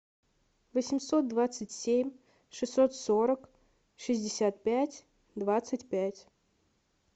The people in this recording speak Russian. восемьсот двадцать семь шестьсот сорок шестьдесят пять двадцать пять